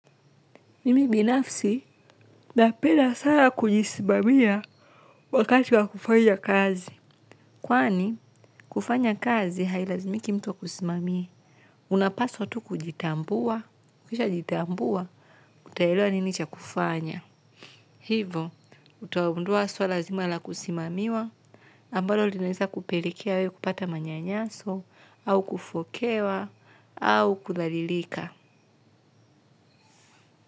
Mimi binafsi na peda sana kujisimamia wakati wa kufanya kazi. Kwani kufanya kazi hailazimiki mtu akusimamie. Unapaswa tu kujitambua, kisha ujitambua, utaelewa ninicha kufanya. Hivo, utagundua swala zima la kusimamiwa. Ambalo linaeza kupelikia wei kupata manya nyaso, au kufokewa, au kudhalilika.